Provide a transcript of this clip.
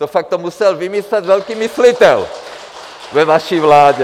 To fakt, to musel vymyslet velký myslitel ve vaší vládě!